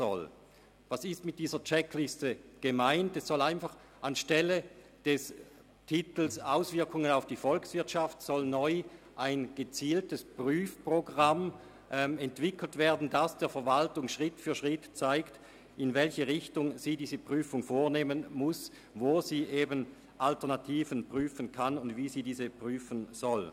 Mit der Checkliste ist gemeint, dass anstelle des Titels «Auswirkungen auf die Volkswirtschaft» neu ein gezieltes Prüfprogramm entwickelt werden soll, das der Verwaltung Schritt für Schritt zeigt, in welche Richtung sie diese Prüfung vornehmen muss, wo sie Alternativen prüfen kann und wie sie diese prüfen soll.